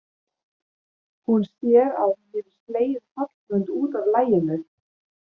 Hún sér að hún hefur slegið Hallmund út af laginu.